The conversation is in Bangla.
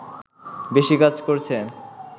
বেশি কাজ করছে